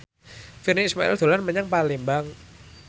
Virnie Ismail dolan menyang Palembang